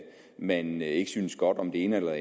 man ikke synes godt om det ene eller